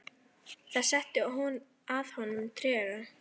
Það setti að honum trega.